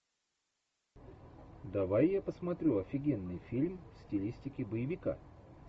давай я посмотрю офигенный фильм в стилистике боевика